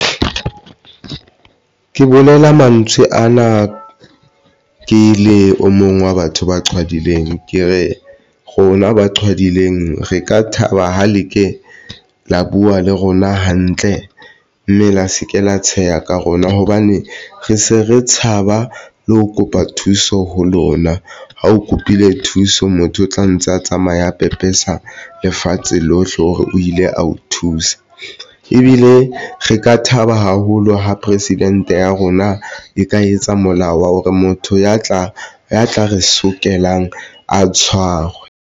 Ke bolela mantswe ana ke le o mong wa batho ba qhwadileng, ke re rona ba qhwadileng re ka thaba ha le ke lo buwa le rona hantle mme le a se ke la tsheha ka rona, hobane re se re tshaba le ho kopa thuso ho lona ha o kopile thuso. Motho o tla ntse a tsamaya pepesa lefatshe lohle hore o ile a o thusa ebile re ka thaba haholo. Ha president ya rona e ka etsa molao, o re motho ya tla ya tla re sokelang a tshwarwe.